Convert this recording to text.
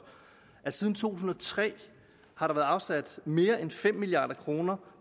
siden to tusind og tre har der været afsat mere end fem milliard kroner